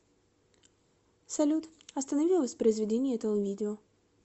салют останови воспроизведение этого видео